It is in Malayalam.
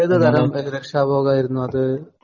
ഏത് തരം രക്ഷാബോധമായിരുന്നു അത്?